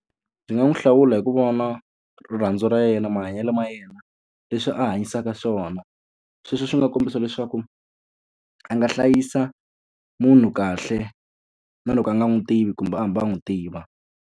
Ndzi nga n'wi hlawula hi ku vona rirhandzu ra yena, mahanyelo ma yena, leswi a hanyisaka swona. Sweswo swi nga kombisa leswaku a nga hlayisa munhu kahle na loko a nga n'wi tivi, kumbe a hambi a n'wi tiva.